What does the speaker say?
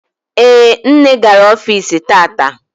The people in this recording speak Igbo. Ee, nne gara ọfici tata.